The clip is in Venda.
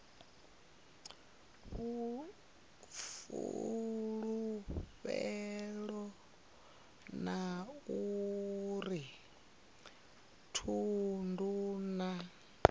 fulufhelo a uri thundu na